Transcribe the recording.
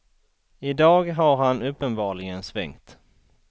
I dag har han uppenbarligen svängt.